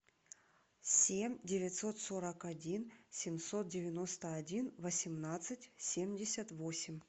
семь девятьсот сорок один семьсот девяносто один восемнадцать семьдесят восемь